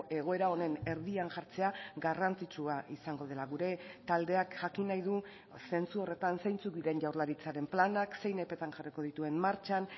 egoera honen erdian jartzea garrantzitsua izango dela gure taldeak jakin nahi du zentzu horretan zeintzuk diren jaurlaritzaren planak zein epetan jarriko dituen martxan